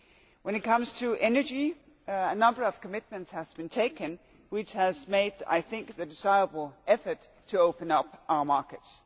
When it comes to energy a number of commitments have been made which has made, I think, the desirable effort to open up our markets.